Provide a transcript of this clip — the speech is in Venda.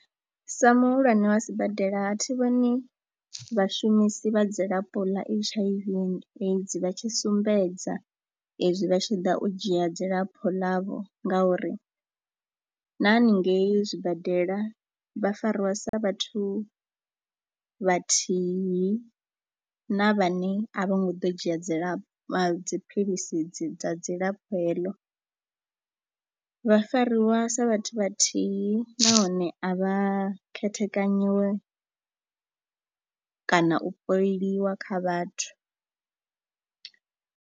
Sa muhulwane wa sibadela a thi vhoni vhashumisi vha dzilafho ḽa H_I_V and AIDS vha tshi sumbedza ezwi vha tshi ḓa u dzhia dzilafho ḽavho ngauri na haningei zwibadela vha fariwa sa vhathu vhathihi na vhane a vho ngo ḓo dzhia dzilafho ḽa dziphilisi dza dzilafho heḽo, vha fariwa sa vhathu vhathihi nahone a vha khethekanyiwe kana u poliwa kha vhathu.